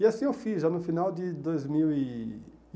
E assim eu fiz, já no final de dois mil e.